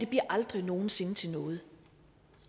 aldrig nogen sinde til noget